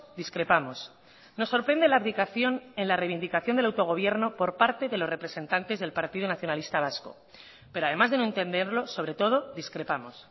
discrepamos nos sorprende la abdicación en la reivindicación del autogobierno por parte de los representantes del partido nacionalista vasco pero además de no entenderlo sobre todo discrepamos